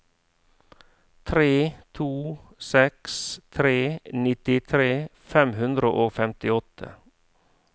tre to seks tre nittitre fem hundre og femtiåtte